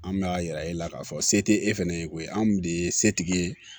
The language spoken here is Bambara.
An bɛ a yira e la k'a fɔ se tɛ e fɛnɛ ye ko ye anw de ye setigi ye